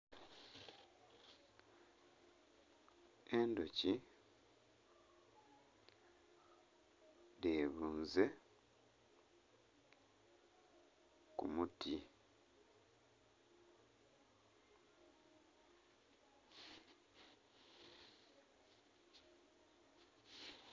Endhuki edhebunze kumuti.